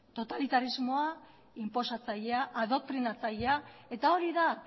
totalitarismoa inposatzailea adoktrinatzailea eta hori da